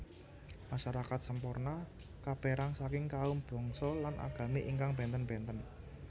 Masyarakat Semporna kaperang saking kaum bangsa lan agami ingkang benten benten